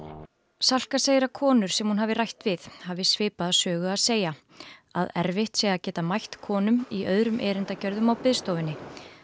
Salka segir að konur sem hún hafi rætt við hafi svipaða sögu að segja að erfitt sé að geta mætt konum í öðrum erindagjörðum á biðstofunni